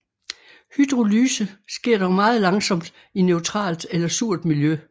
Hydrolyse sker dog meget langsomt i neutralt eller surt miljø